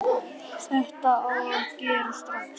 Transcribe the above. Þetta á að gerast strax.